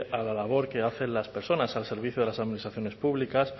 a la labor que hacen las personas al servicio de las administraciones públicas